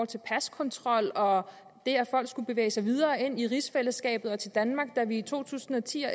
til paskontrol og det at folk skulle bevæge sig videre ind i rigsfællesskabet og til danmark da vi i to tusind og ti